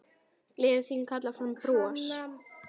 Gleðin þín kallar fram bros.